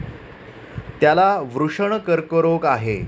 त्याला वृषण कर्करोग आहे.